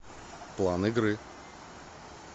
план игры